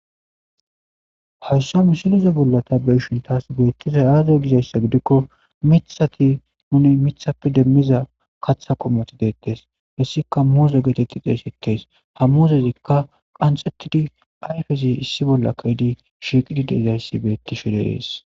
Hayisa misileza bola ta beyishin betizay aze gidayssa goki mithat nun mithape demidda katha qomoti betesi hesika muze geteti xesetes ha muzezika qanxetidi ayifezi issi bolla shiqizi dizayisi betesi